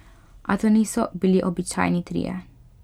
A to niso bili običajni trije.